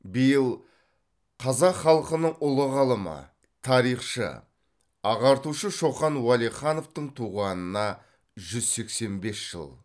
биыл қазақ халқының ұлы ғалымы тарихшы ағартушы шоқан уәлихановтың туғанына жүз сексен бес жыл